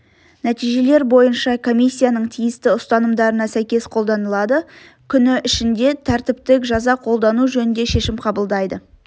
нәтижелер бойынша комиссияның тиісті ұсынымдарына сәйкес қолданылады күні ішінде тәртіптік жаза қолдану жөнінде шешім қабылдайды